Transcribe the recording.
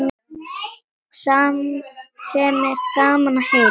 Sem er gaman að heyra.